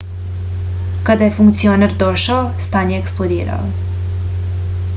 kada je funkcioner došao stan je eksplodirao